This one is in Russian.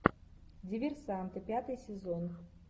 диверсанты пятый сезон